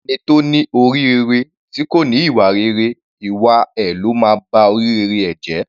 Ẹni tó ní orí rere tí kò ní ìwà rere, ìwà ẹ ló máa ba orí rere ẹ̀ jẹ́.